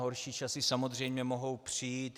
Horší časy samozřejmě mohou přijít.